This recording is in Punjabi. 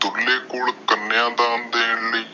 ਡੁਲ੍ਹੇ ਕੋਲ ਕਾਨਿਆਂ ਦਾਨ ਦੇਣ ਲਾਇ